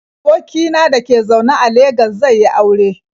Aboki na da ke zaune a Legas zai yi aure.